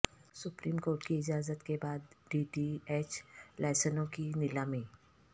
supreme court کی اجازت کے بعد ڈی ٹی ایچ لائسنسوں کی نیلامی